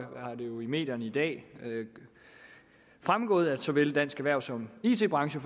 medierne i dag fremgået at såvel dansk erhverv som it branchen